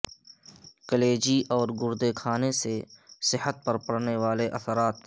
کلیجی اور گردے کھانے سے صحت پر پڑنے والے اثرات